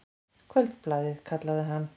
Kvöldblaðið, kallaði hann.